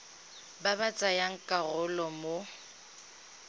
ba ba tsayang karolo mo